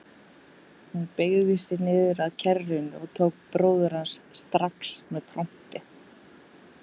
Hún beygði sig niður að kerrunni og tók bróður hans strax með trompi.